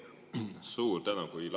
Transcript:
Suur tänu!